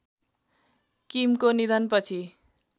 किमको निधनपछि